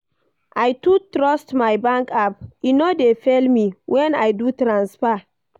I too trust my bank app, e no dey fail me wen I do transfer.